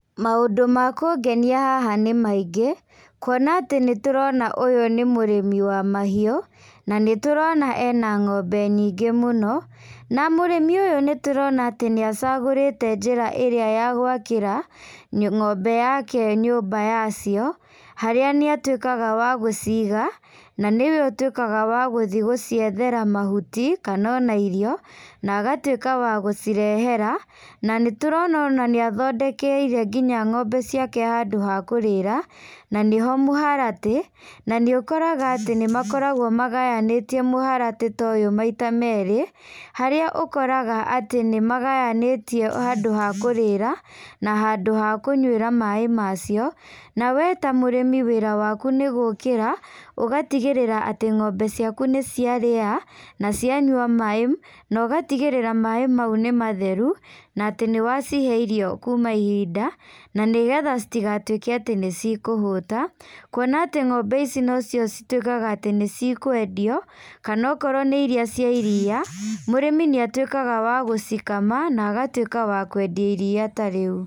Maũndũ ma kũngenia haha nĩ maingĩ, kuona atĩ nĩtũrona ũyũ nĩ mũrĩmi wa mahiũ, na nĩtũrona ena ng'ombe nyingĩ mũno, na mũrĩmi ũyũ nĩtũrona atĩ nĩacagũrĩte njĩra ĩrĩa ya gwakĩra, ng'ombe yake nyumba yacio, harĩa nĩatuĩkaga wa gũciga, na nĩwe ũtuĩkaga wa gũthiĩ gũciethera mahuti, kana ona irio, na agatuĩka wa gũcirehera, na nĩtũrona ona nĩathondekeire nginya ng'ombe ciake handũ ha kũrĩra, na nĩho mũharatĩ, na nĩũkoraga atĩ nĩmakoragwo magayanĩtie mũhũratĩ ta ũyũ maita merĩ, harĩa ũkoraga atĩ nĩmagayanĩtie handũ ha kũrĩra, na handũ ha kũnyuĩra maĩ macio, na we ta mũrĩmi wĩra waku nĩgũkĩra, ũgatigĩrĩra atĩ ng'ombe ciaku nĩciarĩa, na cianyua maĩ, na ũgatigĩrĩra maĩ mau nĩmatheru, na atĩ nĩwacihe irio kuma ihinda, na nĩgetha citigatuĩke atĩ nĩcikũhũta, kuona atĩ ng'ombe ici nocio cituĩkaga atĩ nĩcikwendio, kana okorwo nĩ iria cia iria, mũrĩmi nĩatuĩkaga wa gũcikama, na agatuĩka wa kwendia iria tarĩu.